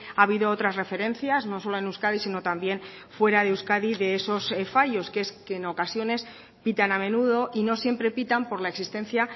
ha habido otras referencias no solo en euskadi sino también fuera de euskadi de esos fallos que es que en ocasiones pitan a menudo y no siempre pitan por la existencia